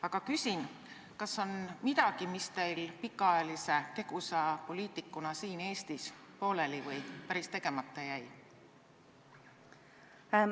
Aga küsin: kas on midagi, mis teil pikaajalise tegusa poliitikuna siin Eestis pooleli või päris tegemata jäi?